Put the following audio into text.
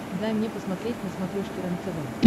дай мне посмотреть на смотрешке рентв